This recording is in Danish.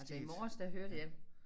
Altså i morges der hørte jeg